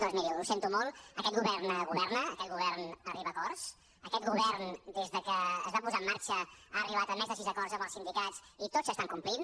doncs miri ho sento molt aquest govern governa aquest govern arriba a acords aquest govern des de que es va posar en marxa ha arribat a més de sis acords amb els sindicats i tots s’estan complint